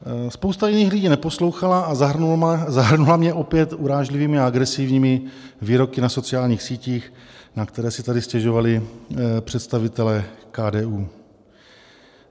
Spousta jiných lidí neposlouchala a zahrnula mě opět urážlivými a agresivními výroky na sociálních sítích, na které si tady stěžovali představitelé KDU.